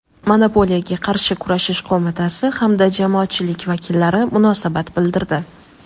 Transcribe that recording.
Monopoliyaga qarshi kurashish qo‘mitasi hamda jamoatchilik vakillari munosabat bildirdi.